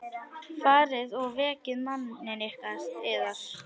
Farið og vekið manninn yðar.